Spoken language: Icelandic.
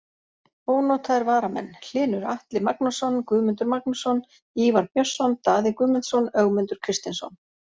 Ónotaðir varamenn: Hlynur Atli Magnússon, Guðmundur Magnússon, Ívar Björnsson, Daði Guðmundsson, Ögmundur Kristinsson.